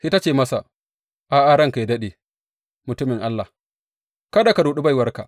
Sai ta ce masa, A’a, ranka yă daɗe, mutumin Allah, kada ka ruɗi baiwarka!